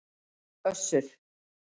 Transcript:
Össur